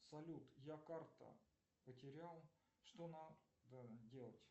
салют я карту потерял что надо делать